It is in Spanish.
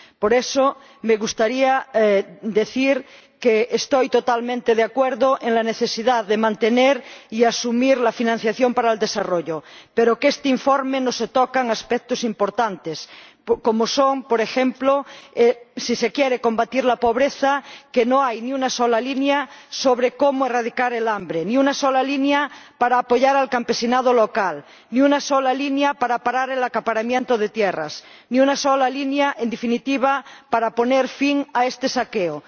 Por eso, me gustaría decir que estoy totalmente de acuerdo con la necesidad de mantener y asumir la financiación para el desarrollo, pero que en este informe no se tocan aspectos importantes, como son, por ejemplo, si se quiere combatir la pobreza, que no hay ni una sola línea sobre cómo erradicar el hambre, ni una sola línea para apoyar al campesinado local, ni una sola línea para acabar con el acaparamiento de tierras, ni una sola línea, en definitiva, para poner fin a este saqueo.